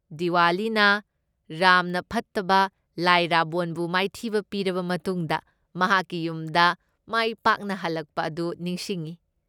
ꯗꯤꯋꯥꯂꯤꯅ ꯔꯥꯝꯅ ꯐꯠꯇꯕ ꯂꯥꯏ ꯔꯥꯕꯣꯟꯕꯨ ꯃꯥꯏꯊꯤꯕ ꯄꯤꯔꯕ ꯃꯇꯨꯡꯗ ꯃꯍꯥꯛꯀꯤ ꯌꯨꯝꯗ ꯃꯥꯏ ꯄꯥꯛꯅ ꯍꯜꯂꯛꯄ ꯑꯗꯨ ꯅꯤꯡꯁꯤꯡꯏ ꯫